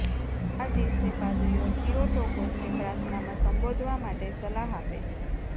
આ દિવસે પાદરીઓ થિયોટોકોસને પ્રાર્થનામાં સંબોધવા માટે સલાહ આપે છે